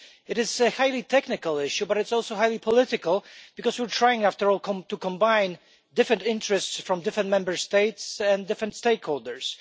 It is a highly technical issue, but it is also highly political because, after all, we are trying to combine different interests from different Member States and different stakeholders.